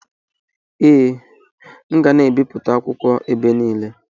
Ee, m ga na-ebipụta akwukwo ibe niile.